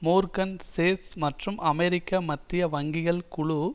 Morgan Chase மற்றும் அமெரிக்க மத்திய வங்கிகள் குழு